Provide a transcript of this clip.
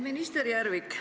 Minister Järvik!